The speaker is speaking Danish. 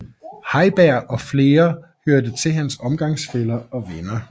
Heiberg og flere hørte til hans omgangsfæller og venner